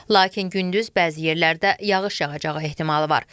Lakin gündüz bəzi yerlərdə yağış yağacağı ehtimalı var.